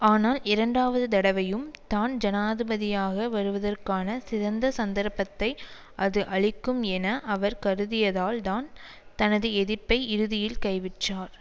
ஆனால் இரண்டாவது தடவையும் தான் ஜனாதிபதியாக வருவதற்கான சிதந்த சந்தர்ப்பத்தை அது அளிக்கும் என அவர் கருதியதால்தான் தனது எதிர்ப்பை இறுதியில் கைவிற்றார்